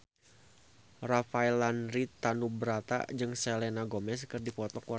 Rafael Landry Tanubrata jeung Selena Gomez keur dipoto ku wartawan